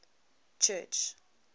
church